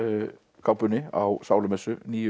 kápunni á sálumessu nýju